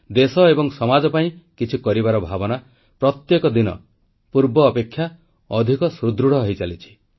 ଦେଶ ଏବଂ ସମାଜ ପାଇଁ କିଛି କରିବାର ଭାବନା ପ୍ରତ୍ୟେକ ଦିନ ପୂର୍ବାପେକ୍ଷା ଅଧିକ ସୁଦୃଢ଼ ହୋଇଚାଲିଛି